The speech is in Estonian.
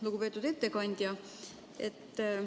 Lugupeetud ettekandja!